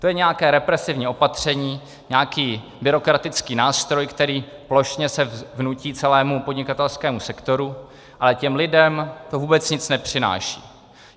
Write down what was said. To je nějaké represivní opatření, nějaký byrokratický nástroj, který se plošně vnutí celému podnikatelskému sektoru, ale těm lidem to vůbec nic nepřináší.